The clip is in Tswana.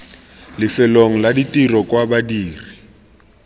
lefelong la tiro kwa badiri